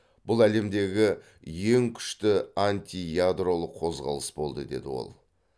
бұл әлемдегі ең күшті антиядролық қозғалыс болды деді ол